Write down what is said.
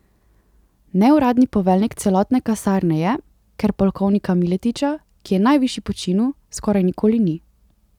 Neuradni poveljnik celotne kasarne je, ker polkovnika Miletića, ki je najvišji po činu, skoraj nikoli ni.